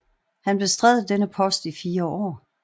Han bestred denne post i fire år